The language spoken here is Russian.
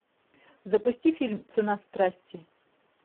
запусти фильм цена страсти